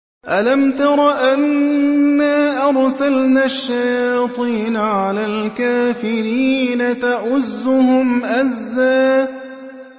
أَلَمْ تَرَ أَنَّا أَرْسَلْنَا الشَّيَاطِينَ عَلَى الْكَافِرِينَ تَؤُزُّهُمْ أَزًّا